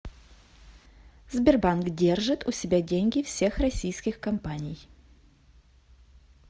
сбербанк держит у себя деньги всех российских компаний